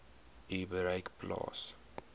u bereik plaas